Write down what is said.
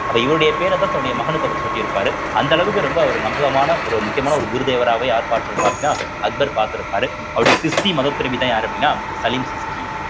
அப்ப இவருடைய பெயரைத்தான் தன்னுடைய மகனுக்கு அவர் சூட்டியிருப்பாரு அந்த அளவுக்கு ரொம்ப அவர் நம்பகமான ஒரு முக்கியமான ஒரு குருதேவராவே யார் பார்த்திருப்பார் அப்படின்னா அக்பர் பார்த்திருப்பாரு அவருடைய சிஷ்டி மதத்திறவிதான் யாரு அப்படின்னா சலீம் சிஷ்டி